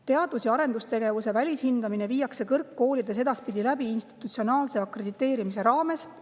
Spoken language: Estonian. Teadus‑ ja arendustegevuse välishindamine viiakse kõrgkoolides edaspidi läbi institutsionaalse akrediteerimise raames.